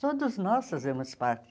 Todos nós fazemos parte.